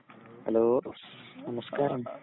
hello നമസ്കാരം